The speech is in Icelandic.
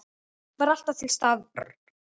Var alltaf til staðar.